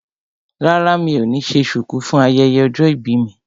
Rárá mi ò ní ṣe ṣùkú fún ayẹyẹ ọjọ́ ìbí mi